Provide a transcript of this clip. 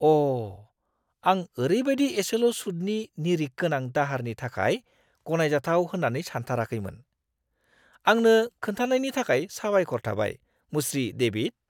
अ ! आं ओरैबायदि एसेल' सुदनि निरिख गोनां दाहारनि थाखाय गनायजाथाव होन्नानै सानथाराखैमोन। आंनो खोनथानायनि थाखाय साबायखर थाबाय, मुश्री डेविड।